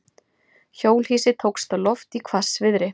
Hjólhýsi tókst á loft í hvassviðri